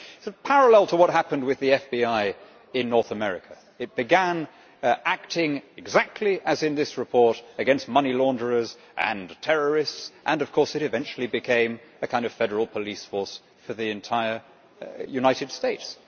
There is a parallel with what happened to the FBI in North America it began acting exactly as in this report against money launderers and terrorists and, of course, it eventually became a kind of federal police force for the entire United States.